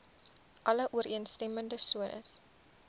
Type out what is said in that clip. alle ooreenstemmende sones